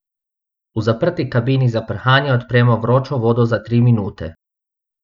V zaprti kabini za prhanje odpremo vročo vodo za tri minute.